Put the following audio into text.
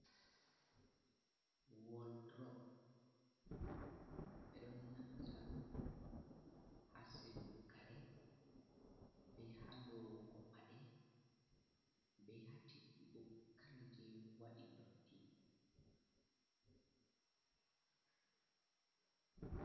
Waldrop bedon naffira dum hasilugo kare ,be halowugo pade be hatiugo kare je wadi dotti.